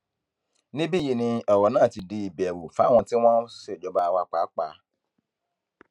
níbí yìí ni ọrọ náà ti di ìbẹrù fáwọn tí wọn ń ṣèjọba wa pàápàá